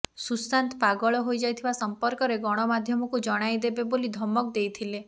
ସୁଶାନ୍ତ ପାଗଳ ହୋଇଯାଇଥିବା ସମ୍ପର୍କରେ ଗଣମାଧ୍ୟମକୁ ଜଣାଇଦେବେ ବୋଲି ଧମକ ଦେଇଥିଲେ